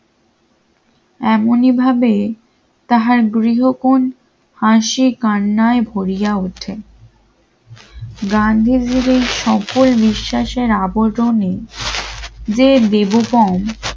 এমনইভাবে তাহার গৃহকোণ হাসি কান্নায় ভরিয়া ওঠে গান্ধীজীর এই সকল বিশ্বাসের আবরণী যে দেবগ্রাম